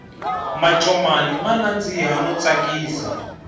mancomani ma nandziha no tsakisa